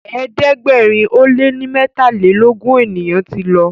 ẹ̀ẹ́dẹ̀gbẹ̀rin o lẹ ní metalelogun ènìyàn tí ló